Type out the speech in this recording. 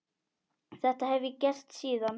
Þetta hef ég gert síðan.